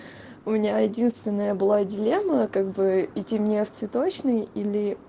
у меня единственная была делема как бы идти мне в цветочный или